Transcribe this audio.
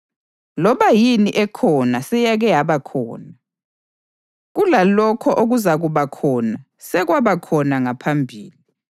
Loba yini ekhona seyake yaba khona, kulalokho okuzakuba khona sekwaba khona ngaphambili; njalo uNkulunkulu uzakubalisa okwedlulayo.